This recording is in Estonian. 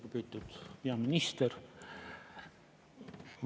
Lugupeetud peaminister!